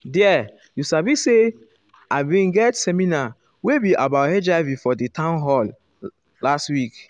there you sabi say ah been get seminar wey be about hiv for um di town hall hall last week um